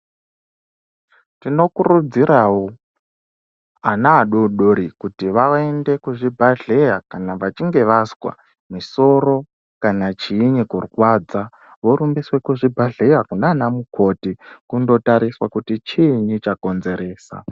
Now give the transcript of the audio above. Tinokurudzirawo vana vadodori kuti vaende kuzvibhedhlera kana vachinge vazwa misoro kana chinyi kurwadza voendeswa kuzvibhedhlera kunana mumoti kotarisa chinyi charwadza.